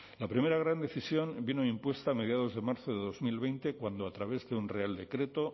la primera gran decisión vino impuesta a mediados de marzo de dos mil veinte cuando a través de un real decreto